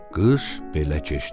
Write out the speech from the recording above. Qış belə keçdi.